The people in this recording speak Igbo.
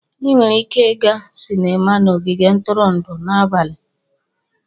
Ị nwere ike ịga sinima na ogige ntụrụndụ n'abalị.